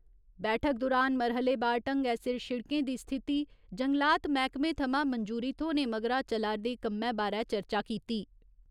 बैठक दुरान मरह्‌ले बार ढंगै सिर शिड़कें दी स्थिति जंगलात मैह्‌कमे थमां मंजूरी थ्होने मगरा चला'रदे कम्मै बारे चर्चा कीती।